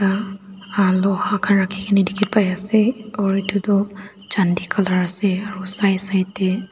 Nuh ah loha khan rakhikena dekhe pai ase or etu tuh chandi colour ase aro side side dae--